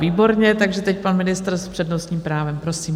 Výborně, takže teď pan ministr s přednostním právem, prosím.